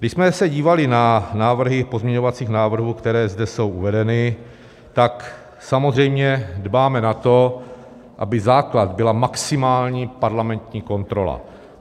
Když jsme se dívali na návrhy pozměňovacích návrhů, které zde jsou uvedeny, tak samozřejmě dbáme na to, aby základ byla maximální parlamentní kontrola.